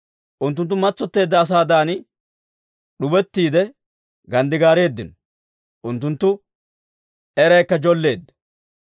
Unttunttu matsotteedda asaadan d'ubettiide ganddigaareeddino; unttunttu eraykka jolleedda.